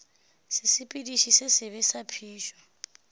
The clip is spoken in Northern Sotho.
sesepediši se sebe sa phišo